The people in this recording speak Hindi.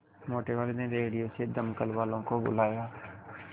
मोटेवाले ने रेडियो से दमकल वालों को बुलाया